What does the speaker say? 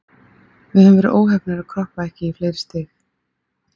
Við höfum verið óheppnir að kroppa ekki í fleiri stig.